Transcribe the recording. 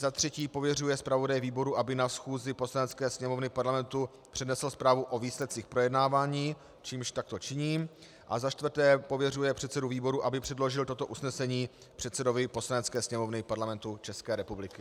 za třetí pověřuje zpravodaje výboru, aby na schůzi Poslanecké sněmovny Parlamentu přednesl zprávu o výsledcích projednávání - čímž takto činím, a za čtvrté pověřuje předsedu výboru, aby předložil toto usnesení předsedovi Poslanecké sněmovny Parlamentu České republiky.